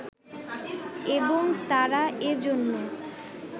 এবং তারা এ জন্য